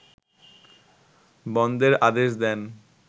বন্ধের আদেশ দেন